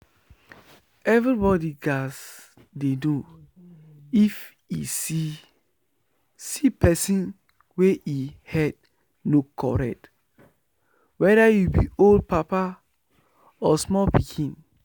everybody gats dey know if e see see person wey e head no correct weda you be old papa or small pikin